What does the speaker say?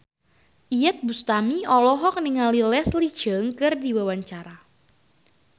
Iyeth Bustami olohok ningali Leslie Cheung keur diwawancara